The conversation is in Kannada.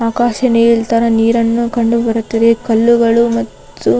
ಆಕಾಶ ನೀಲಿ ತರ ನೀರನ್ನು ಕಂಡುಬರುತ್ತದೆ. ಕಲ್ಲುಗಳು ಮತ್ತು --